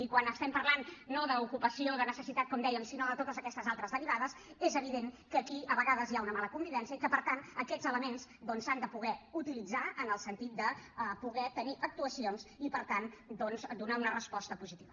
i quan estem parlant no d’ocupació de necessitat com dèiem sinó de totes aquestes altres derivades és evident que aquí a vegades hi ha una mala convivència i que per tant aquests elements doncs s’han de poder utilitzar en el sentit de poder tenir actuacions i per tant donar una resposta positiva